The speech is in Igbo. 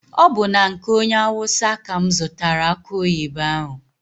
Ọ bụ na nke onye awụsa ka mụ zụtara akụ oyibo ahụ.